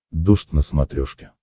дождь на смотрешке